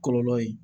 Kɔlɔlɔ ye